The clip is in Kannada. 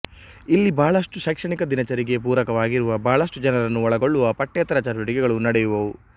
ಇಲ್ಲಿ ಬಹಳಷ್ಟು ಶೈಕ್ಷಣಿಕ ದಿನಚರಿಗೆ ಪೂರಕವಾಗಿರುವ ಬಹಳಷ್ಟು ಜನರನ್ನು ಒಳಗೊಳ್ಳುವ ಪಠ್ಯೇತರ ಚಟುವಟಿಕೆಗಳು ನಡೆಯುವವು